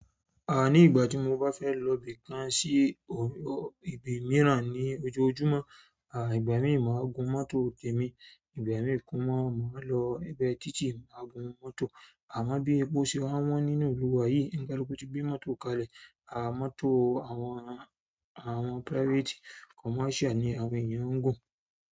À ní ìgbà tí mo bá fẹ́ lọ ibì kan sí ibì míràn ní ojoojúmọ́, à ìgbà mí máa gun mọ́tò tèmi, ìgbà mìí mọ́ máa lọ egbe títí màá gun mọ́tò. Àmo bí epo ṣe wa wọ́n nínú ìlú wá yí, onikaluku ti mọ́tò kalẹ̀. À mọ́tò àwọn private commercial ni àwọn ènìyàn wo.